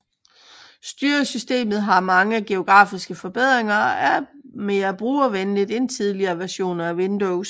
Styresystemet har mange grafiske forbedringer og er mere brugervenligt end tidligere versioner af Windows